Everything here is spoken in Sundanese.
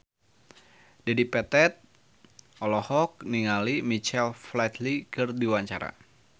Dedi Petet olohok ningali Michael Flatley keur diwawancara